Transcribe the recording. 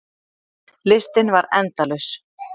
Listinn var endalaus.